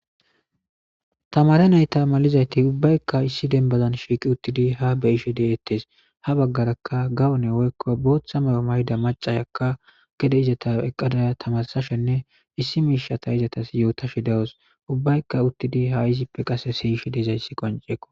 tamare nayta malizayti ubbaykka issi denbazan shiiqi uttidi ha beyishe deeettees ha baggarakka gawune woykko booththa mayo mayda macayakka gede izata eqqadaa tamasashenne issi miishata izatas yootashi dawos ubbaykka uttidi ha izippe qase siyishe diizayssi qonceeko